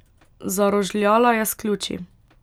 Zarožljala je s ključi.